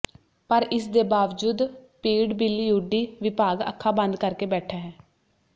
ਪਰ ਇਸ ਦੇ ਬਾਵਜੂਦ ਪੀਡਬਿਲਊਡੀ ਵਿਭਾਗ ਅੱਖਾਂ ਬੰਦ ਕਰਕੇ ਬੈਠਾ ਹੈ